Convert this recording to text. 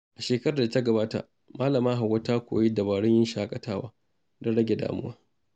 A shekarar da ta gabata, Malama Hauwa ta koyi dabarun yin shakatawa don rage damuwa.